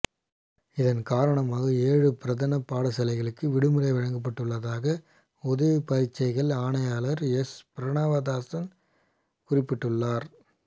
இதன் காரணமாக ஏழு பிரதான பாடசாலைகளுக்கு விடுமுறை வழங்கப்பட்டுள்ளதாக உதவிப் பரீட்சைகள் ஆணையாளர் எஸ் பிரணவதாசன் குறிப்பிட்டுள்ளார்